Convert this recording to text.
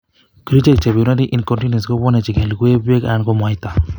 Kerichek chebourinanry incontinence kobwone ko chekilugui, beek anan ko mwaita